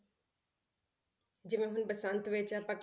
ਜਿਵੇਂ ਹੁਣ ਬਸੰਤ ਵਿੱਚ ਆਪਾਂ